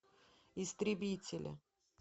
истребители